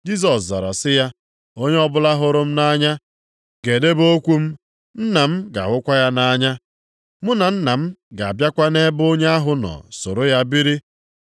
Jisọs zara sị ya, “Onye ọbụla hụrụ m nʼanya, ga-edebe okwu m. Nna m ga-ahụkwa ya nʼanya. Mụ na Nna m ga-abịakwa nʼebe onye ahụ nọ soro ya biri.